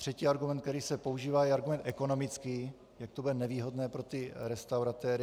Třetí argument, který se používá, je argument ekonomický, jak to bude nevýhodné pro ty restauratéry.